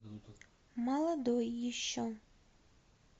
молодой еще